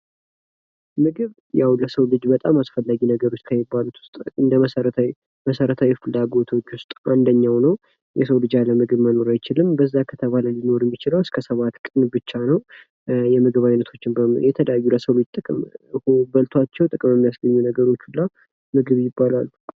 ምግብ ለሰው ልጆች በጣም አስፈላጊ ከሚባሉት ውስጥ ፥ መሰረታዊ ነገሮች ውስጥ አንደኛው ነው። የሰው ልጅ ያለ ምግብ መኖር አይችልም ፤ በዛ ቢባል ሊኖር የሚችለው እስከ ሰባት ቀን ብቻ ነው ፤ የምግብ አይነቶች ደግሞ የተለያዩ የሰው ልጆች በልቷቸው ጥቅም ሊያስገኙ የሚችሉ ነገሮች ሁላ ምግብ ይባላሉ።